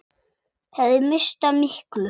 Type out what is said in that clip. Ég hefði misst af miklu.